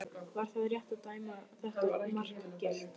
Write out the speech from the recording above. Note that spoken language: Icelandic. Var það rétt að dæma þetta mark gilt?